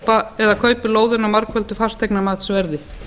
eða kaupi lóðina á margföldu fasteignamatsverði